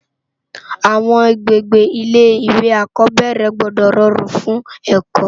Awòn ágbégbé Ilé iwé ákòbèrè gbòdò ròrún fún èkò